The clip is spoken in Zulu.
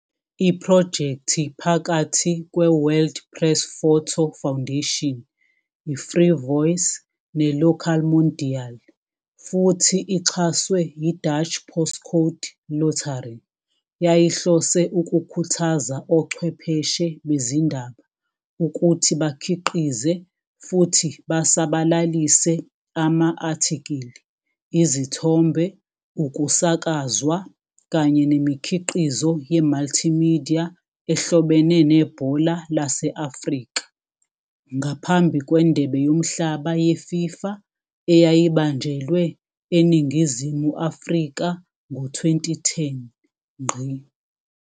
Iphrojekthi phakathi kweWorld Press Photo Foundation, iFreevoice neLokaalmondiaal, futhi ixhaswe yiDutch Postcode Lottery, yayihlose ukukhuthaza ochwepheshe bezindaba ukuthi bakhiqize futhi basabalalise ama-athikili, izithombe, ukusakazwa kanye nemikhiqizo ye-multimedia ehlobene nebhola lase-Afrika ngaphambi kweNdebe Yomhlaba yeFIFA eyayibanjelwe eNingizimu Afrika ngo-2010.